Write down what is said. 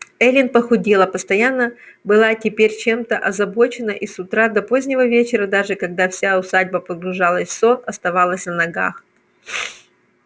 эллин похудела постоянно была теперь чем-то озабочена и с утра до позднего вечера даже когда вся усадьба погружалась в сон оставалась на ногах